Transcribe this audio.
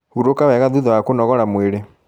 Huruka wega thutha wa kũnogora mwĩrĩ